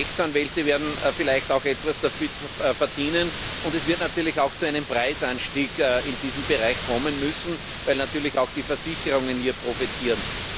Die Rechtsanwälte werden vielleicht auch etwas daran verdienen und es wird selbstverständlich auch zu einem Preisanstieg in diesem Bereich kommen müssen, weil natürlich auch die Versicherungen hier profitieren.